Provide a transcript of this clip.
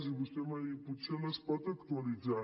i vostè m’ha dit potser les pot actualitzar